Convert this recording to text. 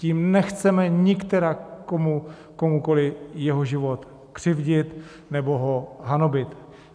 Tím nechceme nikterak komukoliv jeho život křivdit nebo ho hanobit.